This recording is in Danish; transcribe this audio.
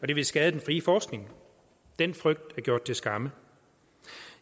det ville skade den frie forskning den frygt er gjort til skamme